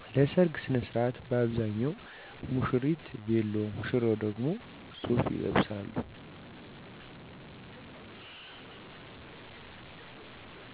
ለሰርግ ሥነሥርዓት በአብዛኛው ሙሽሪት ቬሎ ሙሽራው ደግሞ ሱፍ ይለብሳሉ